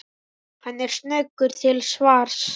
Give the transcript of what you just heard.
Hann er snöggur til svars.